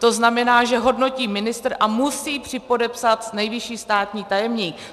To znamená, že hodnotí ministr a musí připodepsat nejvyšší státní tajemník.